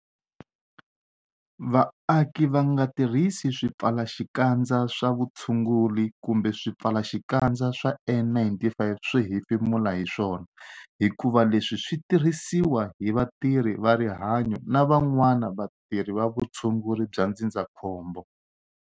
Vaaki va nga tirhisi swipfalaxikandza swa vutshunguri kumbe swipfalaxikandza swa N-95 swo hefemula hi swona hikuva leswi swi tirhisiwa hi vatirhi va rihanyo na van'wana vatirhi va vutshunguri bya ndzindzakhombo.